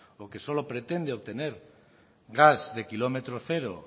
o que solo pretende obtener gas de kilómetro cero